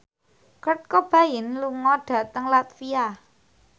Kurt Cobain lunga dhateng latvia